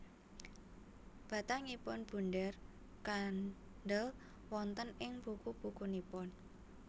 Batangipun bunder kandhel wonten ing buku bukunipun